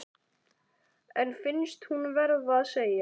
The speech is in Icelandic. En finnst hún verða að segja